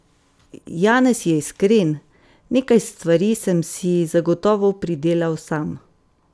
Janez je iskren: "Nekaj stvari sem si zagotovo pridelal sam.